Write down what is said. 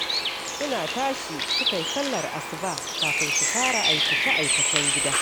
Suna tashi suka yi sallar asuba kafin su fara aikace-aikacen gida